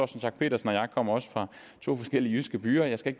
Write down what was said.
schack pedersen og jeg kommer fra to forskellige jyske byer og jeg skal